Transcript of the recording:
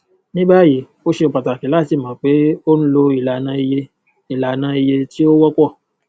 ní báyìí ó ṣe pàtàkì láti mọ pé o ń lo ìlànà iye ìlànà iye tí ó wọpọ